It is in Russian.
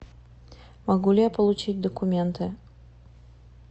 могу ли я получить документы